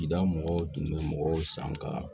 I da mɔgɔw tun bɛ mɔgɔw san ka